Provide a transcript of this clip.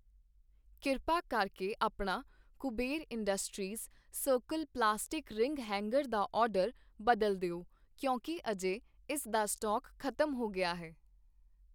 ਕਿਰਪਾ ਕਰਕੇ ਆਪਣਾ Kuber industries circle plastic ring hanger ਦਾ ਆਰਡਰ ਬਦਲ ਦਿਓ ਕਿਉਂਕਿ ਅਜੇ ਇਸ ਦਾ ਸਟਾਕ ਖ਼ਤਮ ਹੋ ਗਿਆ ਹੈ